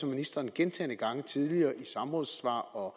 ministeren gentagne gange tidligere i samrådssvar og